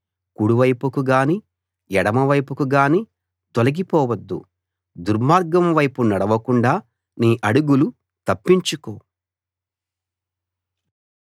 కుడివైపుకు గానీ ఎడమవైపుకు గానీ తొలగిపోవద్దు దుర్మార్గం వైపు నడవకుండా నీ అడుగులు తప్పించుకో